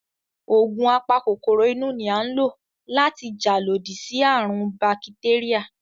Ògùn a pa kòkòrò inú ni à ń lò láti jà lodí sí àrùn ún bakitéríà